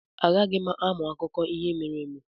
Agaghị m amụ akụkọ ihe mere eme.